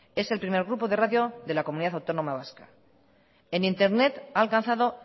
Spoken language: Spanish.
es el primer grupo de radio de la comunidad autónoma vasca en internet ha alcanzado